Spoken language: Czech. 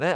Ne.